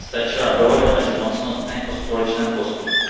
Stačila dohoda mezi mocnostmi o společném postupu.